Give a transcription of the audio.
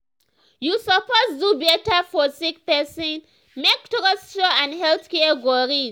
you suppose do better for sick person make trust show and health care go reach.